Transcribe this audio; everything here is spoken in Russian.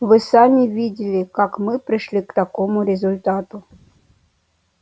вы сами видели как мы пришли к такому результату